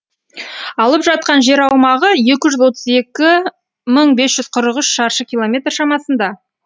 алып жатқан жер аумағы екі жүз отыз екі мың бес жүз қырық үш шаршы километр шамасында